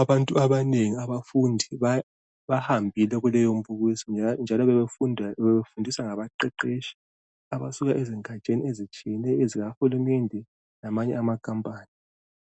Abantu banengi abafundi bahambile kuleyo mbukiso. Njalo bebefundiswa ngabaqeqetshi abasuka ezingatsheni ezitshiyeneyo, zikahulumende. Lamanye amakampani.